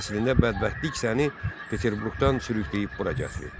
Əslində bədbəxtlik səni Peterburqdan sürükləyib bura gətirib.